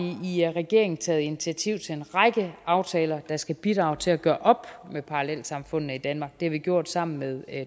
i regeringen taget initiativ til en række aftaler der skal bidrage til at gøre op med parallelsamfundene i danmark det har vi gjort sammen med